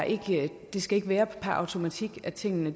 ikke skal være per automatik at tingene